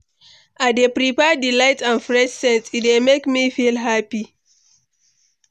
I dey prefer di light and fresh scents, e dey make me feel happy.